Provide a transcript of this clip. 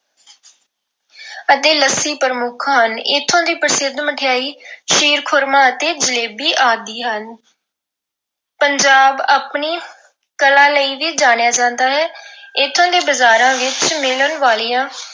ਅਤੇ ਲੱਸੀ ਪ੍ਰਮੁੱਖ ਹਨ। ਇੱਥੋਂ ਦੀ ਪ੍ਰਸਿੱਧ ਮਠਿਆਈ ਖੀਰ-ਖੁਰਮਾ ਅਤੇ ਜਲੇਬੀ ਆਦਿ ਹਨ। ਪੰਜਾਬ ਆਪਣੀ ਕਲਾ ਲਈ ਵੀ ਜਾਣਿਆ ਜਾਂਦਾ ਹੈ। ਇਥੋਂ ਦੇ ਬਜ਼ਾਰਾਂ ਵਿੱਚ ਮਿਲਣ ਵਾਲੀਆਂ